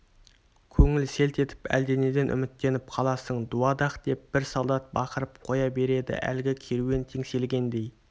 көңіл селт етіп әлденеден үміттеніп қаласың дуадақ деп бір солдат бақырып қоя береді әлгі керуен теңселгендей